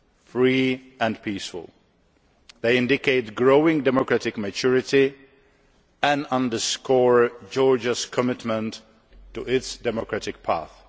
free and peaceful. They indicate growing democratic maturity and underscore Georgia's commitment to its democratic path.